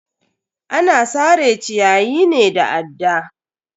Ana sare ciyayi ne da adda.